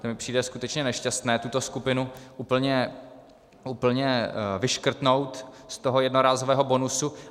To mi přijde skutečně nešťastné, tuto skupinu úplně, úplně vyškrtnout z toho jednorázového bonusu.